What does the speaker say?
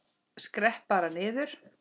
Skrepp bara niður.